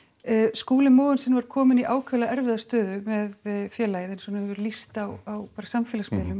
Skúli Mogensen var kominn í ákaflega erfiða stöðu með félagið eins og hann hefur lýst á samfélagsmiðlum